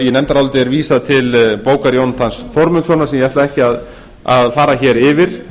í nefndaráliti er vísað til bókar jónatans þórmundssonar sem ég ætla ekki að fara yfir